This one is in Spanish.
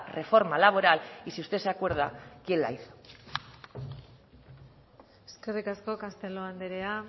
reforma laboral y si usted se acuerda quién la hizo eskerrik asko castelo anderea